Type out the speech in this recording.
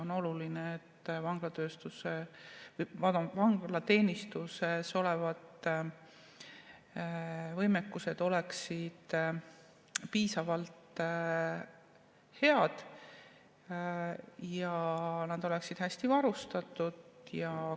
On oluline, et vanglateenistuse võimekus oleks piisavalt hea ja nad oleksid hästi varustatud.